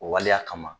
O waleya kama